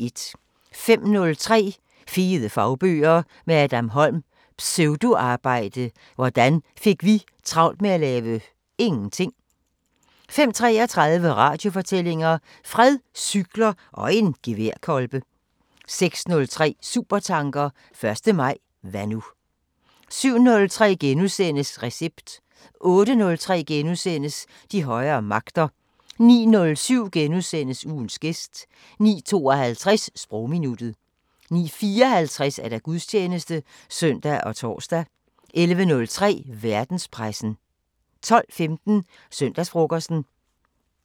05:03: Fede fagbøger – med Adam Holm: Pseudoarbejde – hvordan vi fik travlt med at lave ingenting 05:33: Radiofortællinger: Fred, cykler og en geværkolbe 06:03: Supertanker: 1. maj – hvad nu 07:03: Recept * 08:03: De højere magter * 09:07: Ugens gæst * 09:52: Sprogminuttet 09:54: Gudstjeneste (søn og tor) 11:03: Verdenspressen 12:15: Søndagsfrokosten